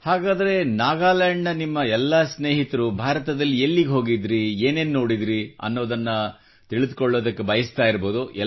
ಹಾಗಾದರೆ ನಾಗಾಲ್ಯಾಂಡ್ನ ನಿಮ್ಮ ಎಲ್ಲ ಸ್ನೇಹಿತರು ಭಾರತದಲ್ಲಿ ಎಲ್ಲಿಗೆ ಹೋಗಿದ್ದಿರಿ ಏನೇನು ನೋಡಿದಿರಿ ಎಂಬುದನ್ನ ತಿಳಿದುಕೊಳ್ಳಬಯಸುತ್ತಿರಬಹುದು